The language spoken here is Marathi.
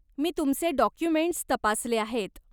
मी तुमचे डाॅक्युमेंट्स तपासले आहेत.